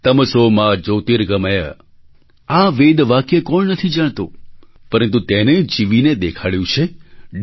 તમસો મા જ્યોતિર્ગમય આ વેદવાક્ય કોણ નથી જાણતું પરંતુ તેને જીવીને દેખાડ્યું છે ડી